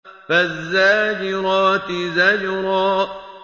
فَالزَّاجِرَاتِ زَجْرًا